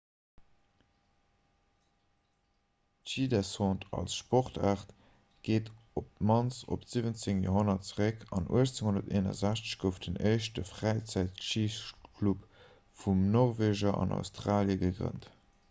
d'schidescente als sportaart geet op d'mannst op d'17. joerhonnert zeréck an 1861 gouf den éischte fräizäitschiclub vun norweger an australie gegrënnt